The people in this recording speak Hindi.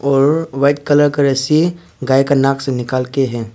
और व्हाइट कलर का रस्सी गाय का नाक से निकाल के हैं।